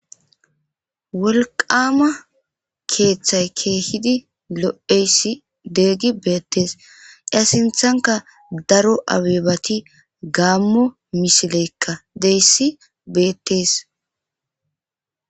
Wolqama keethay keehidi lo'izaysi keehidi beetes iza sinthanka daro abebati gamo misileyka de'iyaysi beetes.